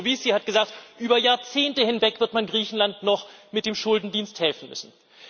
und der Kommissar Moscovici hat gesagt, über Jahrzehnte hinweg wird man Griechenland noch mit dem Schuldendienst helfen müssen.